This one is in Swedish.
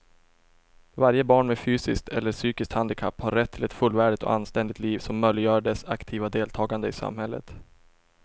Varje barn med fysiskt eller psykiskt handikapp har rätt till ett fullvärdigt och anständigt liv som möjliggör dess aktiva deltagande i samhället.